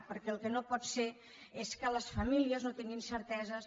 perquè el que no pot ser és que les famílies no tinguin certeses